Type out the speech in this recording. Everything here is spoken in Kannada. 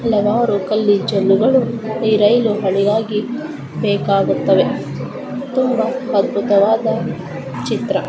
ಹಲವಾರು ಕಲ್ಲಿ ಜಲ್ಲಿಗಳು ಈ ರೈಲು ಹಳಿಗಾಗಿ ಬೇಕಾಗುತ್ತವೆ ತುಂಬಾ ಅದ್ಭುತವಾದ ಚಿತ್ರ.